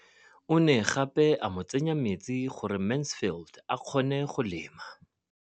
O ne gape a mo tsenyetsa metsi gore Mansfield a kgone go lema.